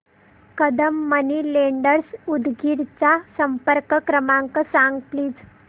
Kadam money lenders Udgir चा संपर्क क्रमांक सांग प्लीज